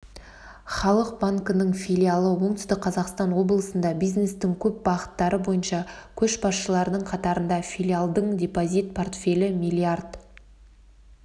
халық банкінің филиалы оңтүстік қазақстан облысында бизнестің көп бағыттары бойынша көшбасшылардың қатарында филиалдың депозит портфелі миллиард